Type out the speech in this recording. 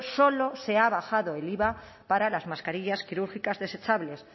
solo se ha bajado el iva para las mascarillas quirúrgicas desechables